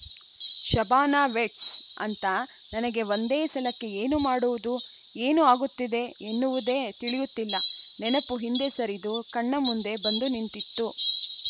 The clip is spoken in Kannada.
ಶಭಾನಾ ವೆಡ್ಸ್‌ ಅಂತ ನನಗೆ ಒಂದೇ ಸಲಕ್ಕೆ ಏನೂ ಮಾಡುವುದು ಏನು ಆಗುತ್ತಿದೆ ಎನ್ನುವುದೇ ತಿಳಿಯಲಿಲ್ಲ ನೆನಪು ಹಿಂದೆ ಸರಿದು ಕಣ್ಣ ಮುಂದೆ ಬಂದು ನಿಂತಿತ್ತು